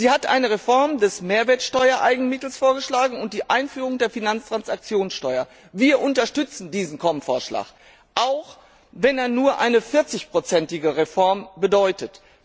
Sie hat eine Reform der Mehrwertsteuereigenmittel und die Einführung der Finanztransaktionssteuer vorgeschlagen. Wir unterstützen diesen Kommissionsvorschlag, auch wenn er nur eine 40 prozentige Reform bedeutet.